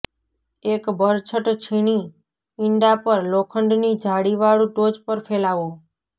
એક બરછટ છીણી ઇંડા પર લોખંડની જાળીવાળું ટોચ પર ફેલાવો